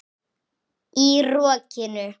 Í rokinu?